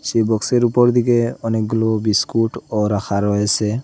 এই বক্সের উপর দিকে অনেকগুলো বিস্কুটও রাখা রয়েসে।